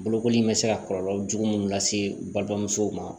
Bolokoli in bɛ se ka kɔlɔlɔ jugu munnu lase u balimamusow ma